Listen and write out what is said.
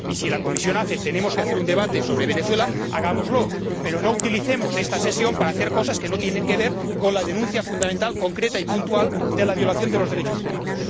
Y si en la Comisión AFET tenemos que hacer un debate sobre Venezuela, hagámoslo, pero no utilicemos esta sesión para hacer cosas que no tienen que ver con la denuncia fundamental, concreta y puntual de la violación de los derechos humanos.